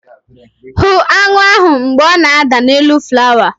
Hụ aṅụ ahụ mgbe ọ na-ada n'elu flawa!